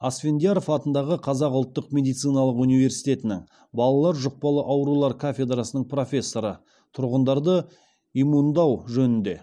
асфендияров атындағы қазақ ұлттық медициналық университетінің балалар жұқпалы аурулар кафедрасының профессоры тұрғындарды иммундау жөнінде